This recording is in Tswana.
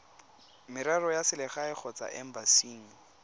merero ya selegae kgotsa embasing